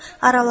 Araladı.